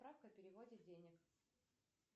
справка о переводе денег